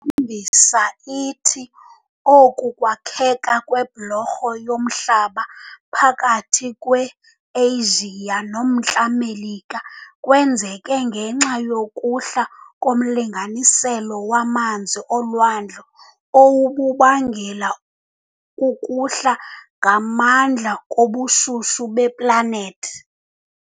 mbisa ithi oku kwakheka kwebholorho yomhlaba phakathi kwe-Eyijiya noMntla Melika kwenzeke ngenxa yokuhla komlinganiselo wamanzi olwandle owububangelwa kukuhla ngamandla kobushushu beplanethi.